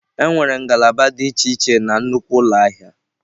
Enwere ngalaba dị iche iche na nnukwu ụlọ ahịa.